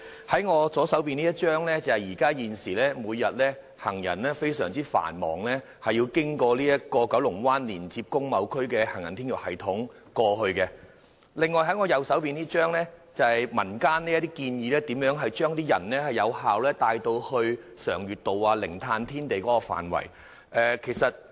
從我左手拿着的圖片所見，現時行人每天均須經由九龍灣連接工貿區的行人天橋系統到達該處，而我右手拿着的便是民間建議如何有效地將行人帶到常悅道或零碳天地的範圍。